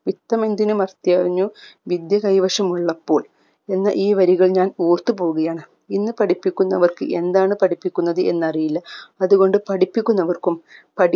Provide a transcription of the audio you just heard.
ഇത്തമെന്തിനു മസ്തിയറിഞ്ഞു വിദ്യ കൈവശമുള്ളപ്പോൾ എന്ന ഈ വരികൾ ഞാൻ ഓർത്തു പോവുകയാണ് ഇന്ന് പഠിപ്പിക്കുന്നവർക്ക് എന്താണ് പഠിപ്പിക്കുന്നത് എന്നറിയില്ല അത് കൊണ്ട് പഠിപ്പിക്കുന്നവർക്കും